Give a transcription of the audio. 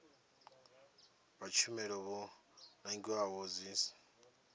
vha tshumelo vho nangiwaho dzidsp